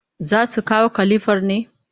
Za su kawo kalifar ne?